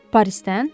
Parisdən?